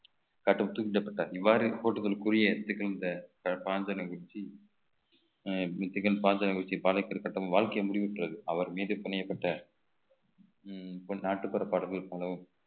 காட்டும் தூக்கிலிலடப்பட்டார் இவ்வாறு கூறிய இந்த பல சான்றினை வெச்சு வாழ்க்கை முடிவுற்றது அவர் மீது நாட்டுப்புற பாடல்கள் போலவும்